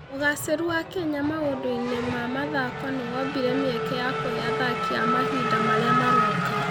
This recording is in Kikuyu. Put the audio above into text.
Ũgaacĩru wa Kenya maũndũ-inĩ ma mathako nĩ wombire mĩeke ya kũhe athaki a mahinda marĩa maroka.